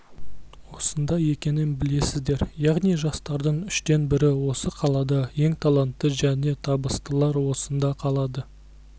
осында екенін білесіздер яғни жастардың үштен бірі осы қалада ең таланты және табыстылар осында қалады